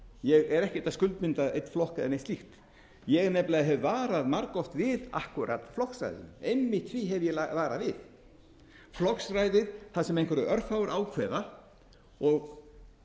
ég er ekkert að skuldbinda einn flokk eða neitt slíkt ég hef nefnilega varað margoft við akkúrat flokksræðinu einmitt því hef ég varað við flokksræðið þar sem einhverjir örfáir ákveða og